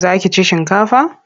Za ki ci shinkafa?